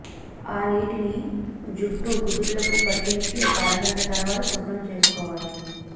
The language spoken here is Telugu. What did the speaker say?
ఆ నీటిని జుట్టు కుదుళ్లకు పట్టించి ఒక అరగంట తర్వాత శుభ్రం చేసుకోవాలి